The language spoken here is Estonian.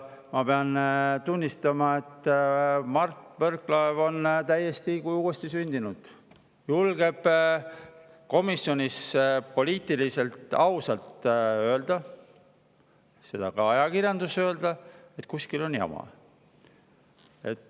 Ma pean tunnistama, et Mart Võrklaev on täiesti nagu uuesti sündinud, julgeb komisjonis poliitiliselt ausalt öelda ja ka ajakirjanduses öelda, et kuskil on jama.